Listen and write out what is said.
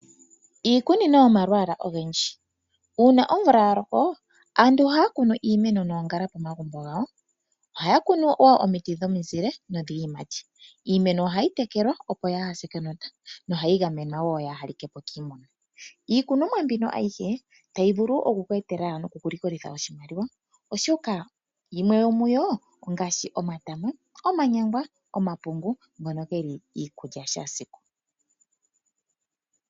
Iikunino yomalwaala ogendji. Uuna omvula ya loko, aantu ohaya kunu iimeno noongala pomagumbo gawo. Ohaya kunu wo omiti dhomizile nodhiiyimati. Iimeno ohayi tekelwa opo yaa hase kenota, nohayi gamwenwa wo yaa ha like po kiimuna. Iikunomwa mbino ayihe tayi vulu okukweetela nokukulikolitha oshimaliwa, oshoka yimwe yomuyo ongaashi omatama, omanyangwa, omapungu ngono geli iikulya ya shaasiku.